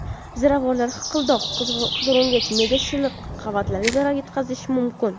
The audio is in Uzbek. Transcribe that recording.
Ziravorlar hiqildoq, qizilo‘ngach, me’da shilliq qavatlariga zarar yetkazishi mumkin.